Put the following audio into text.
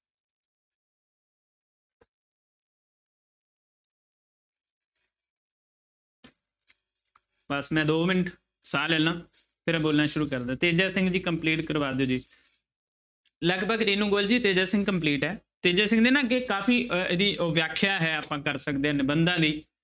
ਬਸ ਮੈਂ ਦੋ ਮਿੰਟ ਸਾਹ ਲੈ ਲਵਾਂ ਫਿਰ ਬੋਲਣਾ ਸ਼ੁਰੂ ਕਰਦਾਂ ਤੇਜਾ ਸਿੰਘ ਜੀ complete ਕਰਵਾ ਦਿਓ ਜੀ ਲਗਭਗ ਰਿਨੂ ਗੋਲ ਜੀ ਤੇਜਾ ਸਿੰਘ complete ਹੈ ਤੇਜਾ ਸਿੰਘ ਦੇ ਨਾ ਅੱਗੇ ਕਾਫ਼ੀ ਅਹ ਇਹਦੀ ਉਹ ਵਿਆਖਿਆ ਹੈ ਆਪਾਂ ਕਰ ਸਕਦੇ ਹਾਂ ਨਿਬੰਧਾਂ ਦੀ।